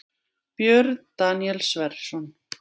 Björn Daníel Sverrisson